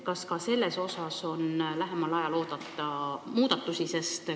Kas ka seal on lähemal ajal oodata muudatusi?